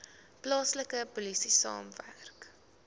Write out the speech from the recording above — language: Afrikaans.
plaaslike polisie saamwerk